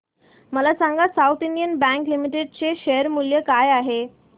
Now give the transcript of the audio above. मला सांगा south Indian bank limited चे शेअर मूल्य काय आहे